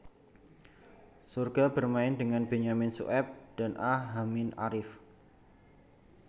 Sorga bermain dengan Benyamin Sueb dan A Hamid Arief